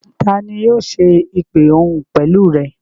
Tani yóò ṣe ìpè òhun pẹ̀lú rẹ?